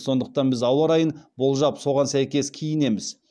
сондықтан біз ауа райын болжап соған сәйкес киінеміз